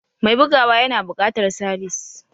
Mai bugawa yana buƙatar sabis.